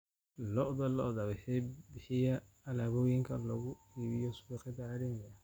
Lo'da lo'da ayaa bixiya alaabooyinka lagu iibiyo suuqyada caalamiga ah.